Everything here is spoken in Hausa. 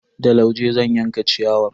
Da lauje zan yanka ciyawar.